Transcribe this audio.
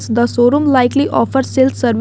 The showroom likely offers sales serv --